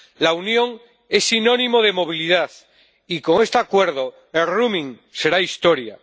La Unión es sinónimo de movilidad y, con este acuerdo, el roaming será historia.